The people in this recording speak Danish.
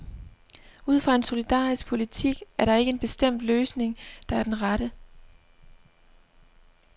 Ud fra en solidarisk politik er der ikke en bestemt løsning, der er den rette.